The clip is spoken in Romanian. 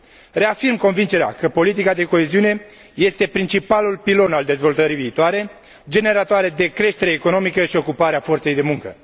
Reafirm convingerea că politica de coeziune este principalul pilon al dezvoltării viitoare, generatoare de creștere economică și ocupare a forței de muncă.